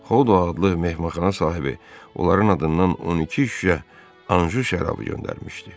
Xodo adlı mehmanxana sahibi onların adından 12 şüşə Anju şərabı göndərmişdi.